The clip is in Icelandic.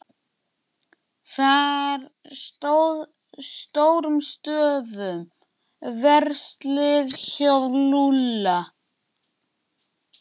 Þar stóð stórum stöfum: Verslið hjá Lúlla.